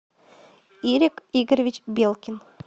ирик игоревич белкин